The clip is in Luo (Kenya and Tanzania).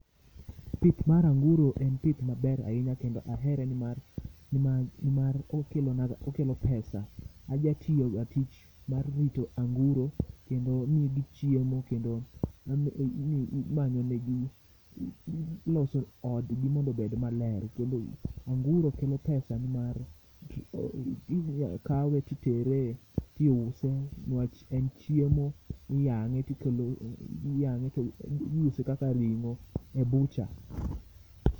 Pith mar anguro en pith maber ahinya kendo ahere nimar nimar okelo pesa. Ajatiyoga tich mar rito anguro kendo amiyogi chiemo kendo iloso odgi mondo obed maler kendo anguro kelo pesa nimar inyakawe titere tiuse nwach en chiemo iyang'e to iuse kaka ring'o e bucha.